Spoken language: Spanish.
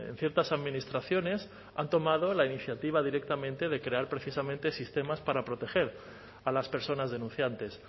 ciertas administraciones han tomado la iniciativa directamente de crear precisamente sistemas para proteger a las personas denunciantes